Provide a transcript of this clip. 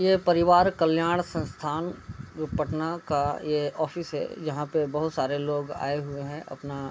ये परिवार कल्याण संस्थान जो पटना का ये ऑफिस है यहाँ पे बहोत सारे लोग आए हुए हैं अपना --